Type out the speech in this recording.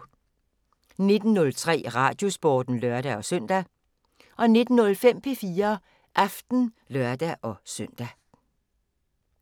19:03: Radiosporten (lør-søn) 19:05: P4 Aften (lør-søn)